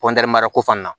mara ko fana